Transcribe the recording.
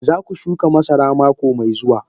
Za ku shuka masara mako mai zuwa